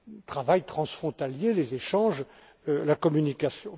le travail transfrontalier, les échanges et la communication.